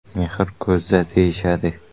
Mehr ko‘zda, deyishadi.